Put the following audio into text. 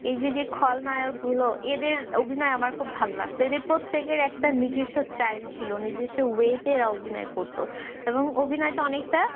এই যে যে খলনায়ক গুলো এদের অভিনয় আমার খুব ভাল লাগত এদের প্রত্যেকের একটা নিজস্ব style ছিল নিজস্ব way তে এরা অভিনয় করত এবং অভিনয়টা অনেকটা